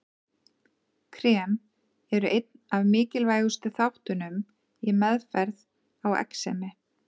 Krem eru einn af mikilvægustu þáttunum í meðferð á exemi.